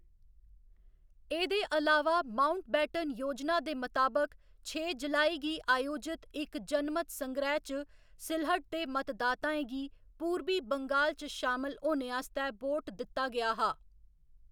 एह्‌‌‌दे अलावा माउंटबेटन योजना दे मताबक, छे जुलाई गी आयोजित इक जनमत संग्रैह्‌‌ च सिलहट दे मतदाताएं गी पूरबी बंगाल च शामल होने आस्तै वोट दित्ता गेआ हा।